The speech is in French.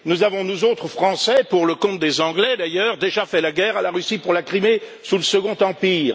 Nous avons, nous autres Français pour le compte des Anglais d'ailleurs déjà fait la guerre à la Russie pour la Crimée sous le Second Empire.